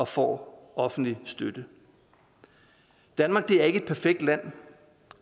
får offentlig støtte danmark er ikke et perfekt land